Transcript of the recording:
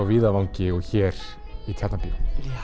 víðavangi og hér í Tjarnarbíó